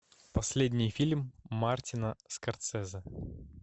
последний фильм мартина скорсезе